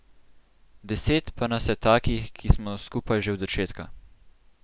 Deset pa nas je takih, ki smo skupaj že od začetka.